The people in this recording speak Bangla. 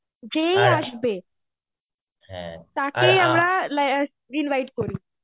যেই আসবে, তাকেই আমরা invite করি.